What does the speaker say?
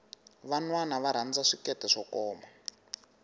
vanwana va rhanza swikete swo koma